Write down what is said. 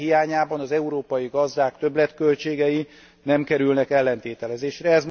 Ennek hiányában az európai gazdák többletköltségei nem kerülnek ellentételezésre.